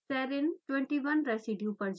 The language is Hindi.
serine 21 रेसीड्यू पर जाएँ